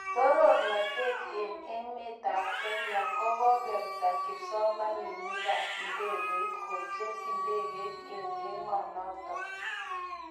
Torornatet eng emetab Kenya kokokerta kipsomaninikab ndekeit kochor ndekeit eng emonotok.